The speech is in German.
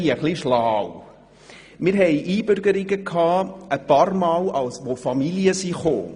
Wir nahmen einige Male Einbürgerungen von Familien vor.